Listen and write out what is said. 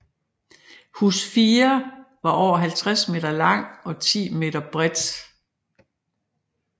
Hus 4 var over 50 meter langt og 10 meter bredt